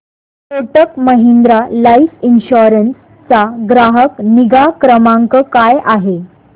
Kotak Mahindra life insurance चा ग्राहक निगा क्रमांक काय आहे